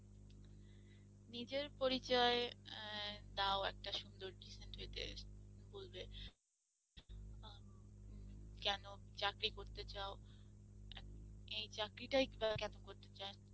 নিজের পরিচয় দাও একটা সুন্দর decent হইতে বলবে আ কেন চাকরি করতে চাও, এই চাকরিটাই কেন করতে চাও?